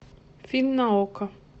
фильм на окко